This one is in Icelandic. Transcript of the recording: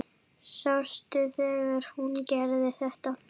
Sástu þegar hún gerði þetta?